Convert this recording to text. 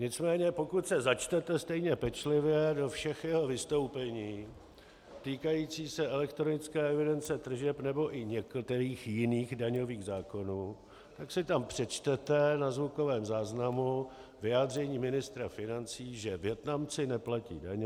Nicméně pokud se začtete stejně pečlivě do všech jeho vystoupení týkajících se elektronické evidence tržeb nebo i některých jiných daňových zákonů, tak si tam přečtete na zvukovém záznamu vyjádření ministra financí, že Vietnamci neplatí daně.